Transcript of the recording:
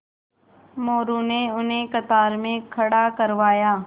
मोरू ने उन्हें कतार में खड़ा करवाया